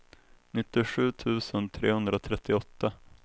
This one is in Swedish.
nittiosju tusen trehundratrettioåtta